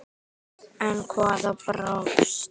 En hvað brást?